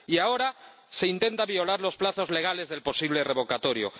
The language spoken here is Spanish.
Y ahora se intentan violar los plazos legales del posible revocatorio.